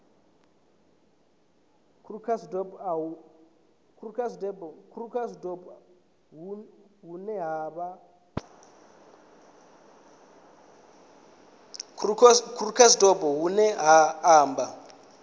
krugersdorp hu ne ha amba